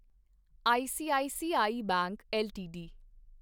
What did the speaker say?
ICICI bank LTD